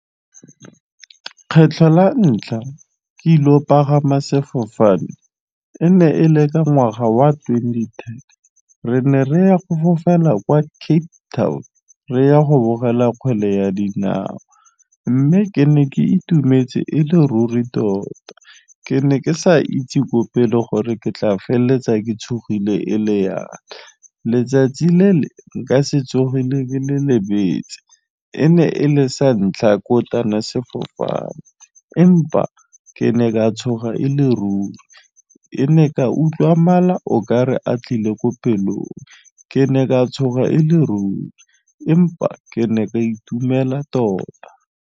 Kgetlho la ntlha ke ile o pagama sefofane e ne e le ka ngwaga wa twenty ten re ne re ya go fofela kwa Cape Town re ya go bogela kgwele ya dinao, mme ke ne ke itumetse e le ruri tota. Ke ne ke sa itse ko pele gore ke tla feleletsa ke tshogile e le yang, letsatsi le le nka setsogeng le le lebetse e ne e le sa ntlha ko sefofane empa ke ne ka tshoga e le ruri e ne ka utlwa mala o ka re a tlile ko pelong ke ne ka tshoga e le ruri empa ke ne ka itumela tota.